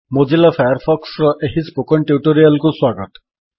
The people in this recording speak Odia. ମୋଜିଲା ଫାୟାରଫକ୍ସର ଏହି ସ୍ପୋକେନ୍ ଟ୍ୟୁଟୋରିଆଲ୍ କୁ ସ୍ୱାଗତ